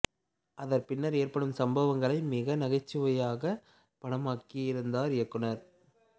அதன் பின்னர் ஏற்படும் சம்பவங்களை மிகவும் நகைச்சுவையாகப் படமாகியிருந்தார் இயக்குனர்